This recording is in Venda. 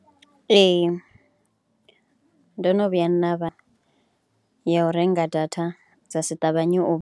Ee ndo no vhuya nda vha ya u renga data dza si ṱavhanye u .